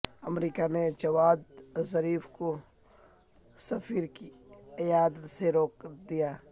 امریکہ نے Javad Zarif کو سفیر کی عیادت سے روک دیا